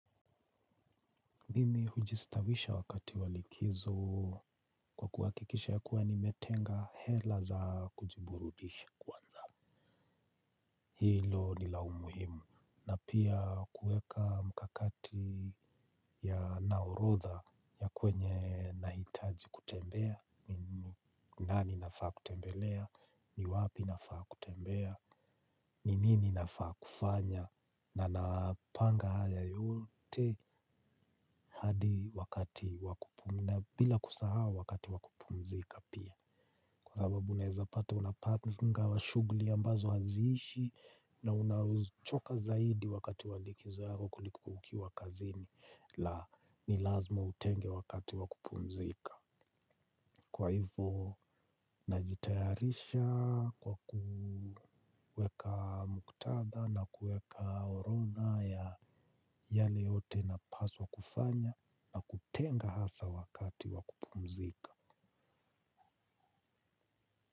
Mimi hujistawisha wakati wa likizo kwa kuhakikisha ya kuwa nimetenga hela za kujiburudisha kwanza. Hilo ni la umuhimu na pia kuweka mkakati yana orodha ya kwenye nahitaji kutembea. Ni nani nafaa kutembelea. Ni wapi nafaa kutembea? Ni nini nafaa kufanya? Na napanga haya yote hadi wakati na bila kusahau wakati wa kupumzika pia. Kwa sababu unaezapata unapanga wa shughuli ambazo haziishi. Na unachoka zaidi wakati wa likizo yako kuliko ukiwa kazini. La ni lazima utenge wakati wa kupumzika. Kwa hivo najitayarisha kwa kuweka muktadha na kuweka orodha ya yale yote napaswa kufanya na kutenga hasa wakati wa kupumzika.